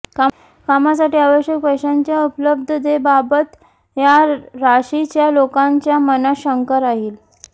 कामासाठी आवश्यक पैशांच्या उपलब्धतेबाबत या राशीच्या लोकांच्या मनात शंका राहील